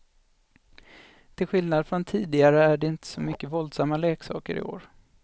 Till skillnad från tidigare är det inte så mycket våldsamma leksaker i år.